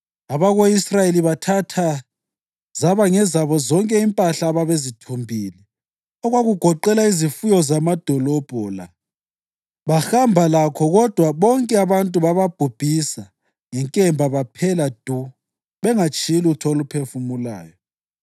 Abako-Israyeli bathatha zaba ngezabo zonke impahla ababezithumbile okwakugoqela izifuyo zamadolobho la bahamba lakho kodwa bonke abantu bababhubhisa ngenkemba baphela du, bengatshiyi lutho oluphefumulayo.